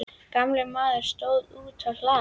Gamli maðurinn stóð úti á hlaði.